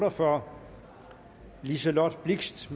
og fyrre liselott blixt